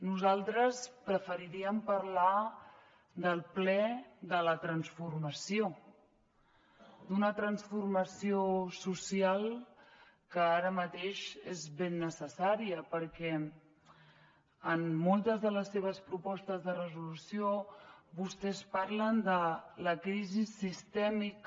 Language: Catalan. nosaltres preferiríem parlar del ple de la transformació d’una transformació social que ara mateix és ben necessària perquè en moltes de les seves propostes de resolució vostès parlen de la crisi sistèmica